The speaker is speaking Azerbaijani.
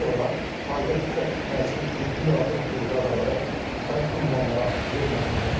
Daha sonra aidiyyatı üzrə təcili tibbi yardım briqadaları müxtəlif ünvanlara yönləndirilir.